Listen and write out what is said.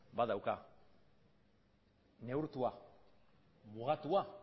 badauka neurtua mugatua